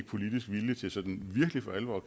politisk vilje til sådan virkelig for alvor at